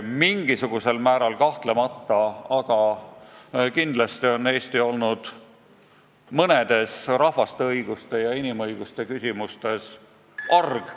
Mingisugusel määral kahtlemata, aga kindlasti on Eesti olnud mõnes rahvaste õiguste ja inimõiguste küsimuses arg.